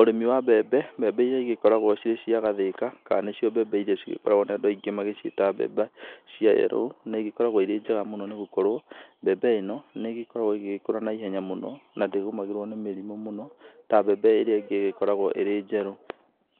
Ũrĩmi wa mbembe, mbembe iria igĩkoragwo cicia gathĩka kana nĩcio mbembe iria andũ aingĩ magĩkoragwo magĩciĩta mbembe cia yellow nĩ igĩkoragwo irĩ njega nĩ gũkorwo mbembe ĩno nĩ gĩkoragwo ĩgĩgĩkũra na ihenya mũno na ndĩgũmagĩrwo nĩ mĩrimũ mũno ta mbembe ĩrĩa ĩngũ ĩgĩkoragwo ĩrĩ njerũ.